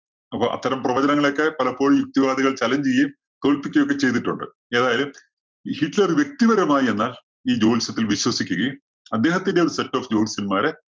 അപ്പോ അത്തരം പ്രവചനങ്ങളൊക്കെ പലപ്പോഴും യുക്തിവാദികള്‍ challenge ചെയ്യുകയും, തോല്‍പ്പിക്കുകയൊക്കെയും ചെയ്തിട്ടുണ്ട്. എതായാലും ഈ ഹിറ്റ്‌ലര്‍ വ്യക്തിപരമായി എന്നാല്‍ ഈ ജ്യോത്സ്യത്തില്‍ വിശ്വസിക്കുകയും, അദ്ദേഹത്തിന്റെ ഒരു set of ജ്യോത്സ്യന്മാരെ